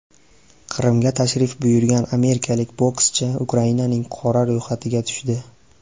Qrimga tashrif buyurgan amerikalik bokschi Ukrainaning qora ro‘yxatiga tushdi.